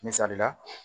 Misali la